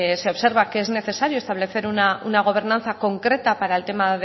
se observa que es necesario establecer una gobernanza concreta para el tema